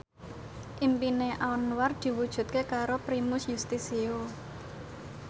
impine Anwar diwujudke karo Primus Yustisio